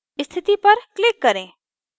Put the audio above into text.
स्थिति पर click करें